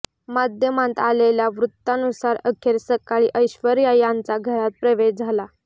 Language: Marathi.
माध्यमांत आलेल्या वृत्तानुसार अखेर सकाळी ऐश्वर्या यांचा घरात प्रवेश झाला